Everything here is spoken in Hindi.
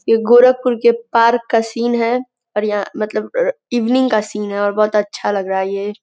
ये गोरखपुर के पार्क का सीन है और यहाँ मतलब अ इवनिंग का सीन है और बहोत अच्छा लग रहा है ये।